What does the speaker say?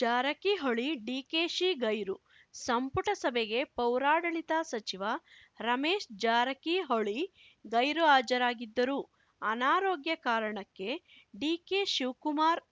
ಜಾರಕಿಹೊಳಿ ಡಿಕೆಶಿ ಗೈರು ಸಂಪುಟ ಸಭೆಗೆ ಪೌರಾಡಳಿತ ಸಚಿವ ರಮೇಶ್‌ ಜಾರಕಿಹೊಳಿ ಗೈರು ಹಾಜರಾಗಿದ್ದರು ಅನಾರೋಗ್ಯ ಕಾರಣಕ್ಕೆ ಡಿಕೆಶಿವ್ ಕುಮಾರ್‌